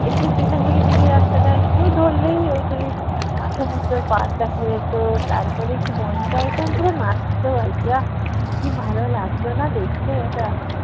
একটু station থেকে বেরিয়ে রাস্তাটা একটু ধরলেই ওই সেই আহ সমুদ্র পাড় দেখা যেত তারপরে একটু মনটা একদম পুরো নাচতো আর কী আহ! কী ভালো লাগত না দেখতে ওটা।